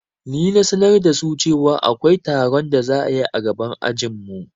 Ni na sanar da su cewa akwai taron da za'ayi a gaban ajinmu